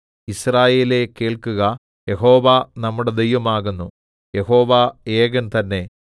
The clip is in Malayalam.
യിസ്രായേലേ കേൾക്കുക യഹോവ നമ്മുടെ ദൈവമാകുന്നു യഹോവ ഏകൻ തന്നെ